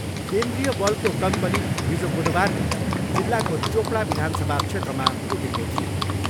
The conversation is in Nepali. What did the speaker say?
केन्द्रीय बलको कम्पनी हिजो बुधबार नै जिल्लाको चोपडा विधानसभा क्षेत्रमा पुगेको थियो।